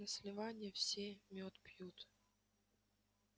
на сливанье все мёд пьют